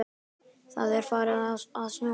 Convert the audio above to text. Það er farið að snjóa.